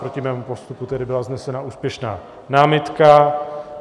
Proti mému postupu tedy byla vznesena úspěšná námitka.